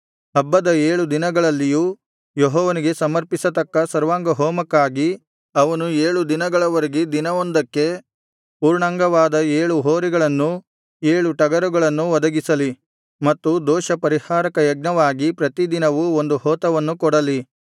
ಹಬ್ಬದ ಏಳು ದಿನಗಳಲ್ಲಿಯೂ ಯೆಹೋವನಿಗೆ ಸಮರ್ಪಿಸತಕ್ಕ ಸರ್ವಾಂಗಹೋಮಕ್ಕಾಗಿ ಅವನು ಏಳು ದಿನಗಳವರೆಗೆ ದಿನವೊಂದಕ್ಕೆ ಪೂರ್ಣಾಂಗವಾದ ಏಳು ಹೋರಿಗಳನ್ನೂ ಏಳು ಟಗರುಗಳನ್ನೂ ಒದಗಿಸಲಿ ಮತ್ತು ದೋಷಪರಿಹಾರಕ ಯಜ್ಞವಾಗಿ ಪ್ರತಿ ದಿನವೂ ಒಂದು ಹೋತವನ್ನು ಕೊಡಲಿ